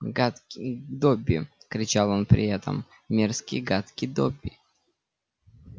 гадкий добби кричал он при этом мерзкий гадкий добби